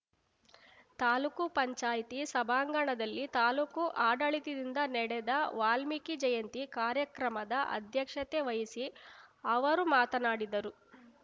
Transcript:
ತಾಲೂಕು ಪಂಚಾಯತಿ ಸಭಾಂಗಣದಲ್ಲಿ ತಾಲೂಕು ಆಡಳಿತದಿಂದ ನಡೆದ ವಾಲ್ಮೀಕಿ ಜಯಂತಿ ಕಾರ್ಯಕ್ರಮದ ಅಧ್ಯಕ್ಷತೆ ವಹಿಸಿ ಅವರು ಮಾತನಾಡಿದರು